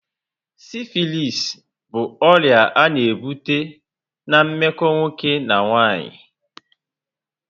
Sifilisi bụ ọrịa a na-ebute na meko nwoke na nwaanyị